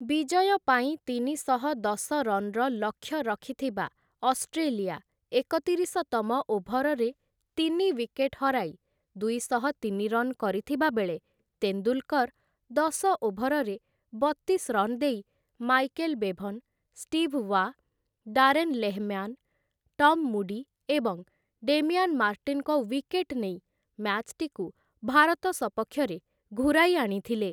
ବିଜୟ ପାଇଁ ତିନିଶହ ଦଶ ରନ୍‌ର ଲକ୍ଷ୍ୟ ରଖିଥିବା ଅଷ୍ଟ୍ରେଲିଆ ଏକତିରିଶତମ ଓଭରରେ ତିନି ୱିକେଟ୍ ହରାଇ, ଦୁଇଶହତିନି ରନ୍ କରିଥିବା ବେଳେ ତେନ୍ଦୁଲ୍‌କର୍‌ ଦଶ ଓଭରରେ ବତିଶ ରନ୍ ଦେଇ Michael Bevan, Steve Waugh, Darren Lehmann, Tom Moody ଏବଂ ଡେମିଆନ୍‌ ମାର୍ଟିନ୍‌ଙ୍କ ୱିକେଟ୍ ନେଇ ମ୍ୟାଚ୍‌ଟିକୁ ଭାରତ ସପକ୍ଷରେ ଘୂରାଇ ଆଣିଥିଲେ ।